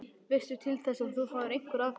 Veistu til þess að þú fáir einhver atkvæði?